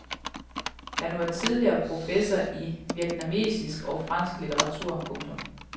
Han var tidligere professor i vietnamesisk og fransk litteratur. punktum